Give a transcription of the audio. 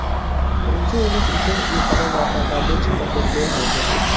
Birinchi urinish u qadar muvaffaqiyatli chiqqan deb bo‘lmaydi.